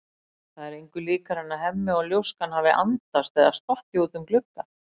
Það er engu líkara en Hemmi og ljóskan hafi andast eða stokkið út um glugga.